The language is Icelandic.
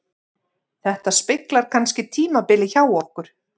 Þetta speglar kannski tímabilið hjá okkur